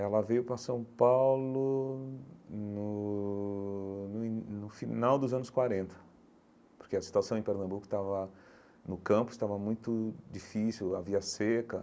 Ela veio para São Paulo no no in no final dos anos quarenta, porque a situação em Pernambuco estava no campo, estava muito difícil, havia seca.